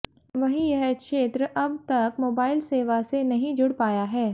वहीं यह क्षेत्र अब तक मोबाइल सेवा से नहीं जुड़ पाया है